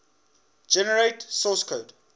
generate source code